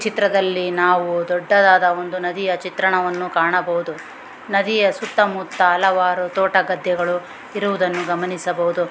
ಚಿತ್ರದಲ್ಲಿ ನಾವು ದೊಡ್ಡದಾದ ಒಂದು ನದಿಯ ಚಿತ್ರಣವನ್ನು ಕಾಣಬಹುದು ನದಿಯ ಸುತ್ತಮುತ್ತ ಹಲವಾರು ತೋಟ ಗದ್ದೆಗಳು ಇರುವುದನ್ನು ಗಮನಿಸಬಹುದು .